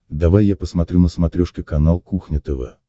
давай я посмотрю на смотрешке канал кухня тв